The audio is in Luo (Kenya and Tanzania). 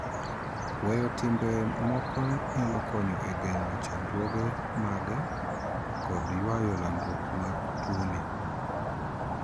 Weyo timbe moko nyalo konyo e geng'o chandruoge mage kod yuayo landruok mar tuoni.